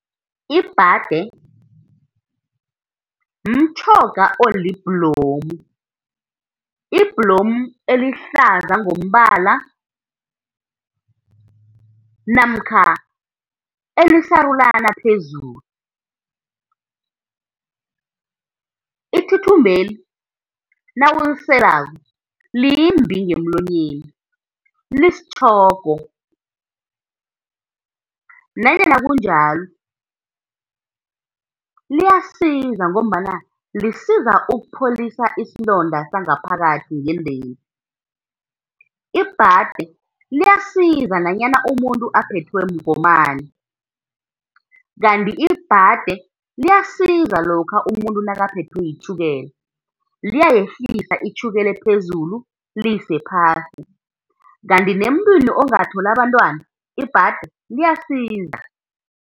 Ibhade mtjhoga olibhlomu, ibhlomu elihlaza ngombala, namkha elisarulana phezulu. Ithuthumbeli nawuliselako limbi ngemlonyeni, lisitjhogo, nanyana linjalo liyasiza ngombana lisiza ukupholisa isilonda sangaphakathi ngendeni. Ibhade liyasiza nanyana umuntu aphethwe mgomani, kanti ibhade liyasiza lokha umuntu nakaphethwe yitjhukela, liyayehlisa itjhukela ephezulu liyise phasi. Kanti nemuntwini ongatholi abantwana ibhade liyasiza.